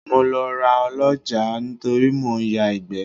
Mo lọ ra Ọlọ́jàá torí mò ń ya ìgbẹ́.